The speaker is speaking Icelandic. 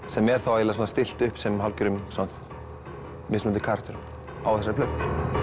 sem er þá eiginlega svona stillt upp sem hálfgerðum mismunandi karakterum á þessari plötu